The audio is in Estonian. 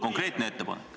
Konkreetne ettepanek.